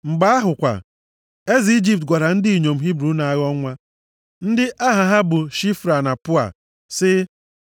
Mgbe ahụ kwa, eze Ijipt gwara ndị inyom Hibru na-aghọ nwa, ndị aha ha bụ Shifra na Pua + 1:15 Aha ndị inyom ndị a na-elekọta ndị inyom Hibru ime na-eme, zipụtara nʼebe o doro anya na ha bụ ndị Ijipt. sị,